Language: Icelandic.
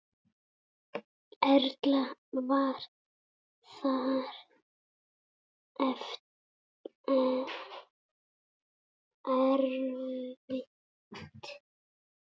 Erla: Var það erfitt?